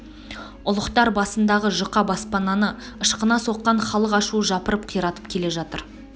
ұлықтар басындағы жұқа баспананы ышқына соққан халық ашуы жапырып қиратып келе жатыр